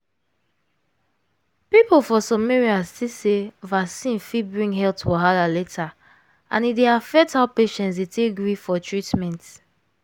people for some areas think sey vaccine fit bring health wahala later and e dey affect how patients dey take gree for treatment.